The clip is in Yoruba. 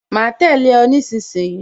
Ma tẹ̀lé o nísinsìnyí